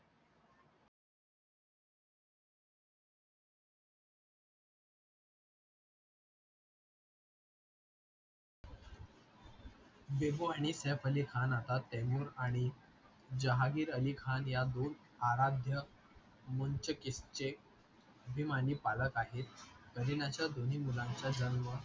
बेबो आणि सैफ अली खान आता टेमुर आणि जहागीर अली खान या दोन आराध्य वंचकीचे अभिमानी पालक आहेत कारीनाच्या दोन्ही मुलांचा जन्म